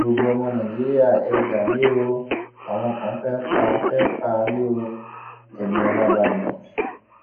gbogbo ọmọ nàìjíríà ẹ gbà mí o àwọn kan fẹẹ pa fẹẹ pa mí oeniola badmus